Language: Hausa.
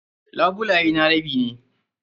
Labulaye na rabi ne.